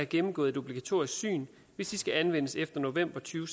gennemgået et obligatorisk syn hvis det skal anvendes efter november to